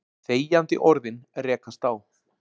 Þegjandi orðin rekast á.